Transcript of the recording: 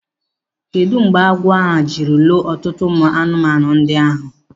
Kedu mgbe agwọ a jiri loo ọtụtụ ụmụ anụmanụ ndị ahụ?